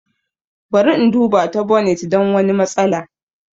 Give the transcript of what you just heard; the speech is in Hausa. Bara in duba ta bonit don wani matsala.